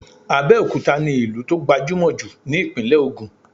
Abẹ́òkúta ni ìlú tó gbajúmọ̀ jù ni ìpínlẹ̀ Ògùn